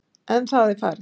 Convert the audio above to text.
En það er farið.